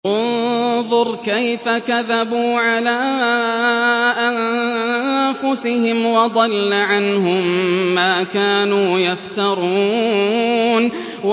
انظُرْ كَيْفَ كَذَبُوا عَلَىٰ أَنفُسِهِمْ ۚ وَضَلَّ عَنْهُم مَّا كَانُوا يَفْتَرُونَ